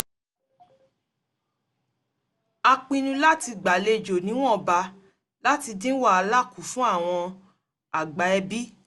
a pinnu láti gbàlejò níwọ̀nba láti dín wàhálà kù fun àwọn àgbà ẹbí